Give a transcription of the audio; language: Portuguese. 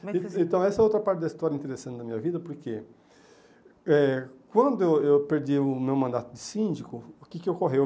Então, essa é outra parte da história interessante da minha vida, porque eh quando eu eu perdi o meu mandato de síndico, o que que ocorreu?